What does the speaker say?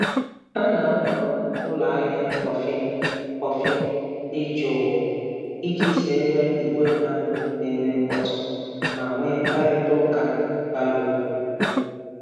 Ha na-ahọrọ ụlọ ahịa kọfị kọfị dị jụụ iji zere ìgwè mmadụ na-eme mkpọtụ ma nwee mkparịta ụka bara uru.